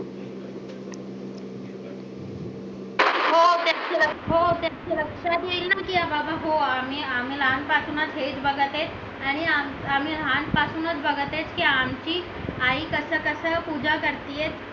हो ते लक्षात येईल ना की बाबा मी लहानपणापासूनच हे बघत आहे हे आम्ही लहानपणापासूनच बघत आहे हे आमची आई कसं कसं पूजा करते